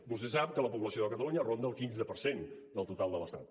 vostè sap que la població de catalunya ronda el quinze per cent del total de l’estat